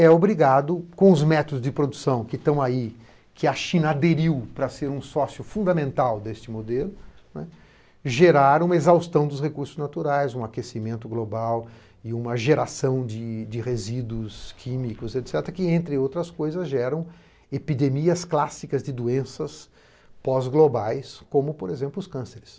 é obrigado, com os métodos de produção que estão aí, que a China aderiu para ser um sócio fundamental deste modelo, gerar uma exaustão dos recursos naturais, um aquecimento global e uma geração de resíduos químicos, etc., que, entre outras coisas, geram epidemias clássicas de doenças pós-globais, como, por exemplo, os cânceres.